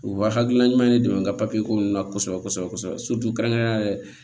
U wa hakilila ɲuman ne dɛmɛ n ka ko nunnu na kosɛbɛ kosɛbɛ kɛrɛnkɛrɛnnenya la